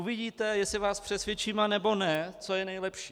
Uvidíte, jestli vás přesvědčím, anebo ne, co je nejlepší.